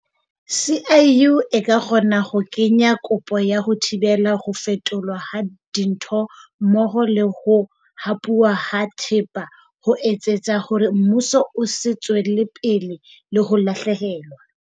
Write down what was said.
CIU e ka kgona ho kenya kopo ya ho thibela ho fetolwa ha dintho mmoho le ho hapuwa ha thepa ho etsetsa hore mmuso o se tswele pele le ho lahlehelwa.